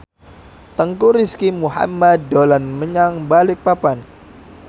Teuku Rizky Muhammad dolan menyang Balikpapan